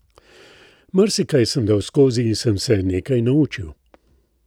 Marsikaj sem dal skozi in sem se nekaj naučil.